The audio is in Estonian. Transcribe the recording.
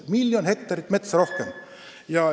Miljon hektarit rohkem!